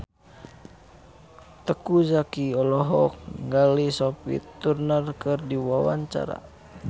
Teuku Zacky olohok ningali Sophie Turner keur diwawancara